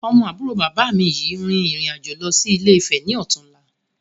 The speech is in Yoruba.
Ọmọ àbúrò bàbá mi yìí rìn ìrìn-àjò lọ sí Ilé-Ifè ni ó tún la